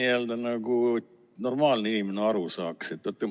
Seleta nii, et normaalne inimene aru saaks.